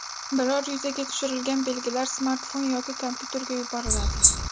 Biror yuzaga tushirilgan belgilar smartfon yoki kompyuterga yuboriladi.